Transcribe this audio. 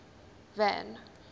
van